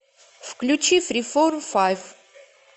включи фриформ файв